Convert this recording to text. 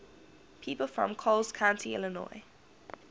people from coles county illinois